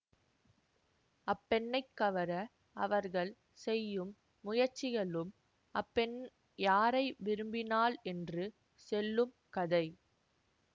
அப்பெண்ணைக் கவர அவர்கள் செய்யும் முயற்சிகளும் அப்பெண் யாரை விரும்பினாள் என்று செல்லும் கதை